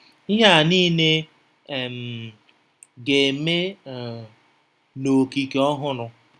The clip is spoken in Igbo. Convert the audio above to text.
Ihe a nile um ga-eme um “n’okike ọhụrụ.”